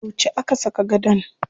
Yauce aka saka gadon?